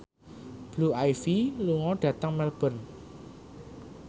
Blue Ivy lunga dhateng Melbourne